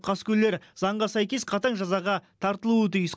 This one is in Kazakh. қаскөйлер заңға сәйкес қатаң жазаға тартылуы тиіс